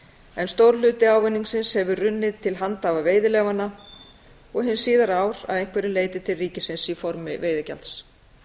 en stór hluti ávinningsins hefur runnið til handhafa veiðileyfanna og hin síðari ár að einhverju leyti til ríkisins í formi veiðigjalds